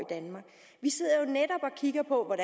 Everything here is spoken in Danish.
kigger på